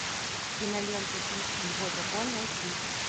кинолента пит и его дракон найти